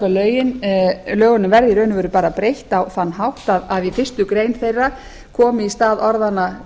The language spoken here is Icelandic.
að hjúskaparlögunum verði í raun og veru bara breytt á þann hátt að í fyrstu grein þeirra komið í stað orðanna